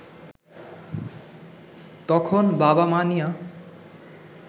তখন বাবা-মা নিয়া